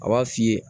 A b'a f'i ye